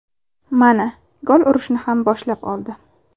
Mana, gol urishni ham boshlab oldi.